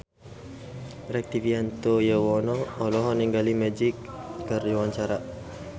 Rektivianto Yoewono olohok ningali Magic keur diwawancara